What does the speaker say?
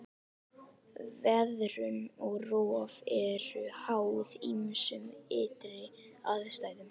Veðrun og rof eru háð ýmsum ytri aðstæðum.